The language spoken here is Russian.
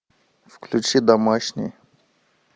включи домашний